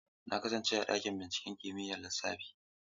Na kasance a ɗakin binciken kimiyyar lissafi.